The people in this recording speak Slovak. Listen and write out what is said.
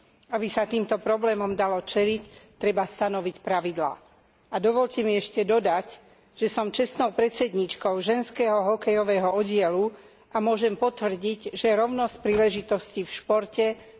Aby sa týmto problémom dalo čeliť, treba stanoviť pravidlá. A dovoľte mi ešte dodať, že som čestnou predsedníčkou ženského hokejového oddielu, a môžem potvrdiť, že rovnosť príležitostí v športe zďaleka nie je realitou.